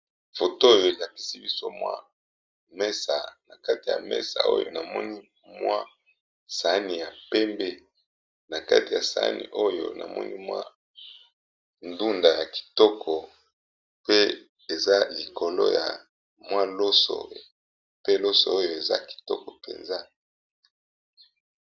Photo oyo elakisi biso mwa mesa likolo ya mesa oyo namoni mwa sani yapembe nakati ya sani batiye loso na ndunda aza ya kitoko penza